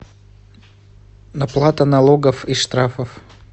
оплата налогов и штрафов